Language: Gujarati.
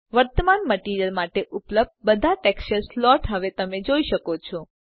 વર્તમાન મટીરીઅલ માટે ઉપલબ્ધ બધા ટેક્સચર સ્લોટ્સ હવે તમે જોઈ શકો છો